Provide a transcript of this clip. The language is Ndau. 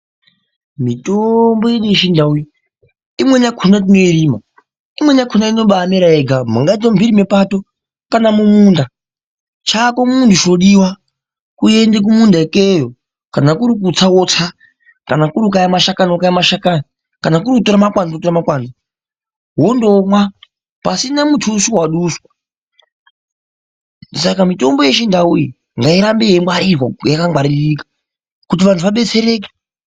Mitombo yedu yeChindau iyi imweni yakona tinoirima imweni yakona inombamera yega mungaite mumhiri mepato kana mumunda. Chako munhu chinodiwa kuende kumunda ikeyo kana kuri kutsa wotsa kana kuri kukaya mashakani wokaya mashakani kana kuri kutora makwanzu wotora makwanzu wondoomwa pasina mutuso waduswa. Saka mitombo yeChindau iyi ngairambe yeingwarirwa yakangwaririka kuti vanhu vabetsereke.